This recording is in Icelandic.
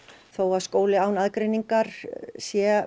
þó að skóli án aðgreiningar sé